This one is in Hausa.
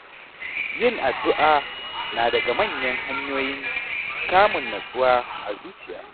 Yin addu’a na daga cikin manyan hanyoyin samun natsuwa a zuciya.